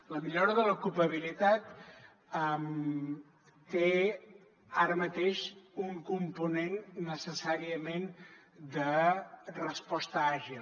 la millora de l’ocupabilitat té ara mateix un component necessàriament de resposta àgil